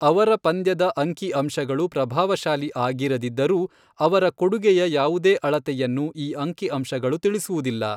ಅವರ ಪಂದ್ಯದ ಅಂಕಿ ಅಂಶಗಳು ಪ್ರಭಾವಶಾಲಿ ಆಗಿರದಿದ್ದರೂ, ಅವರ ಕೊಡುಗೆಯ ಯಾವುದೇ ಅಳತೆಯನ್ನು ಈ ಅಂಕಿ ಅಂಶಗಳು ತಿಳಿಸುವುದಿಲ್ಲ.